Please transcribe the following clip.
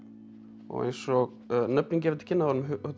og eins og nöfnin gefa til kynna þá